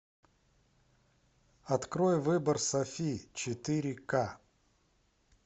открой выбор софи четыре ка